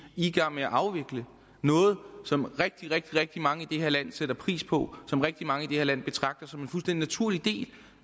i gang med at afvikle noget som rigtig rigtig mange i det her land sætter pris på som rigtig mange i det her land betragter som en fuldstændig naturlig del